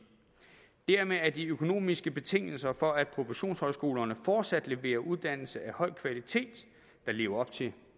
dermed er de økonomiske betingelser for at professionshøjskolerne fortsat leverer uddannelser af høj kvalitet der lever op til